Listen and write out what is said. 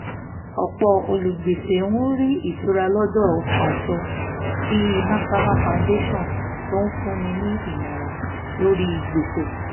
ọ̀pọ̀ olùgbèsè ń rí ìtura lọ́dọ̀ àjọ bí national foundation tó ń fúnni nímọ̀ràn lórí gbèsè